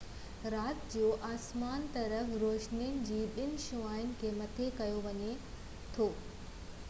رات جو آسمان طرف روشني جي ٻن شعاعن کي مٿي ڪيو ويو آهي